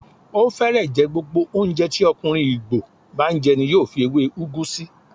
Ó fẹ́rẹ̀ẹ́ jẹ́ gbogbo oúnjẹ tí ọkùnrin Igbo bá n jẹ ní yóò fi èwé ugu sí.